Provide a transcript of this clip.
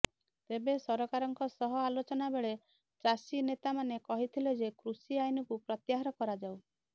ତେବେ ସରକାରଙ୍କ ସହ ଆଲୋଚନା ବେଳେ ଚାଷୀନେତାମାନେ କହିଥିଲେ ଯେ କୃଷି ଆଇନକୁ ପ୍ରତ୍ୟାହାର କରାଯାଉ